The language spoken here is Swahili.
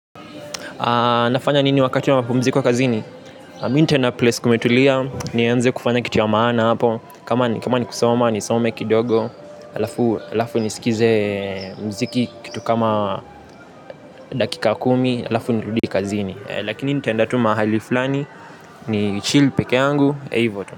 Nafanya nini wakati wa mapumziko wa kazini. Minta na place kumetulia. Nienze kufanya kitu ya maana hapo. Kama ni kusoma nisome kidogo. Lafu nisikize mziki kitu kama dakika kumi alafu nirudi kazini. Lakini nitaenda tu mahali flani. Nichill peke yangu ivo tu.